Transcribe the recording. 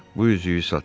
Bu üzüyü satın.